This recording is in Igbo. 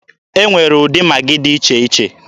E nwere ụdị Magị dị iche iche.